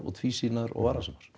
tvísýnar og varasamar